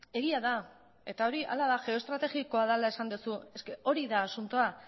egia da eta hori hala da geoestrategikoa dela esan duzu hori da asuntoa